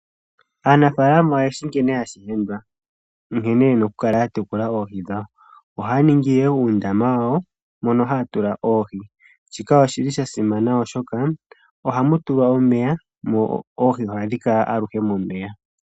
Aanafaalama oyeshi nkene hashi endwa nkene ena okutekula oohi dhawo. Ohaya ningi uundama wawo mono haya tula oohi, shika osha simana oshoka ohamu tulwa omeya dho oohi ohadhi kala aluhe momeya.